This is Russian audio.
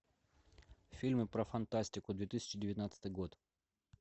фильмы про фантастику две тысячи девятнадцатый год